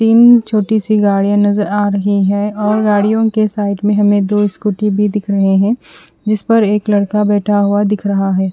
Pin छोटी सी गाडिया नजर आ रही है और गाडियों के साइड में हमे दो स्कूटी भी दिख रही है जिस पर एक लड़का बेठा हुआ दिख रहा है।